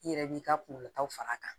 I yɛrɛ b'i ka kungolotaw far'a kan